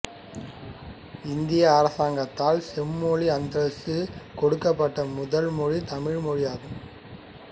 இந்திய அரசாங்கத்தால் செம்மொழி அந்தஸ்து கொடுக்கப்பட்ட முதல் மொழி தமிழ் ஆகும்